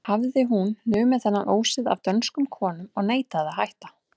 Hafði hún numið þennan ósið af dönskum konum og neitaði að hætta.